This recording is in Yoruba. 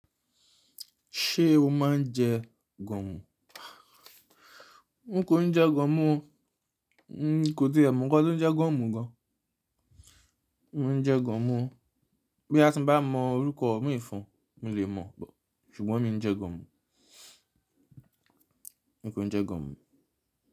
Ṣé o máa ń jẹ gọ̀mù? N kò njẹ́ gọ̀mù o. N kò ti è mọ́ nkán tó ń jẹ́ gọ̀mù gan. N jẹ́ gọ̀mù o. Boya ti ń bá mọ orúkọ mi fún-ún, mò lè mọ̀ bọ̀, ṣùgbọ́n mi ń jẹ́ gọ̀mù. N kò n jẹ́ gọ̀mù.